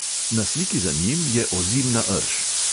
Na sliki za njim je ozimna rž.